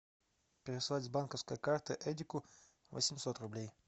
переслать с банковской карты эдику восемьсот рублей